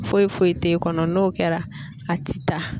Foyi foyi t'e kɔnɔ n'o kɛra a ti taa.